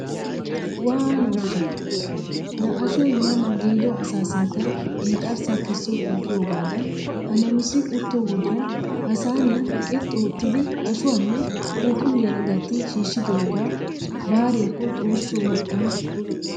Waanooshsha! laa ashoy ma ma giido asaa sinttan inxxarssa kessoppa giyoogaadan ha namisi utto wodiyaan ha saaniya qilxxi oottidi ashshuwanne phuuphphuliyara gatti shiishshidoogee baariyakko xoossoo mal'ana!!